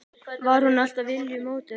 Var hún alltaf viljugt módel?